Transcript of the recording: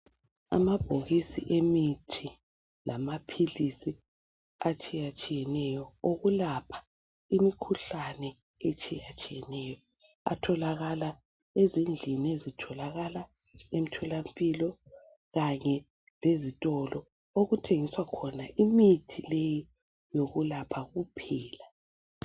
Amabhokisi emithi lamaphilisi atshiyatshiyeneyo okulapha imikhuhlane etshiyatshiyeneyo atholakala ezindlini ezitholakala emtholampilo kanye lezitolo okuthengiswa khona imithi leyi yokulapha kuphela.